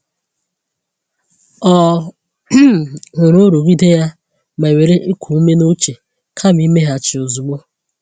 Ọ um hụrụ nrụgide ya ma were iku ume n’uche kama imeghachi ozugbo.